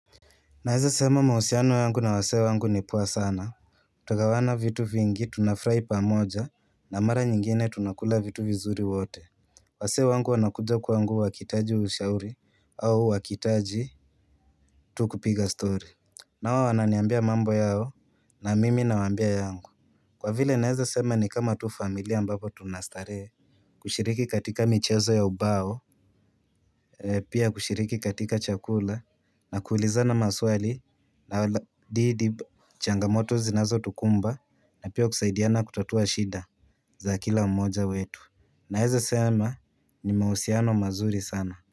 Naeza sema mahusiano yangu na wasia wangu ni poa sana Twagawana vitu vingi tunafurai pamoja na mara nyingine tunakula vitu vizuri wote wasee wangu wanakuja kwangu wakihitaji ushauri au wakihitaji tu kupiga story nao wananiambia mambo yao na mimi nawambia yangu. Kwa vile naeza sema ni kama tu familia ambapo tunastarehe. Kushiriki katika michezo ya ubao Pia kushiriki katika chakula na kuulizana maswali na changamoto zinazotukumba na pia kusaidiana kutatua shida za kila mmoja wetu Naeza sema ni mahusiano mazuri sana.